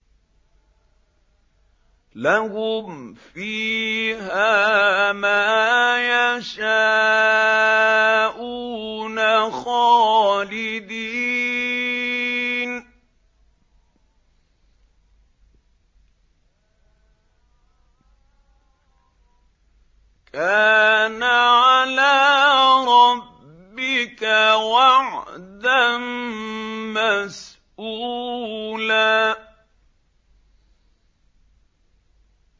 لَّهُمْ فِيهَا مَا يَشَاءُونَ خَالِدِينَ ۚ كَانَ عَلَىٰ رَبِّكَ وَعْدًا مَّسْئُولًا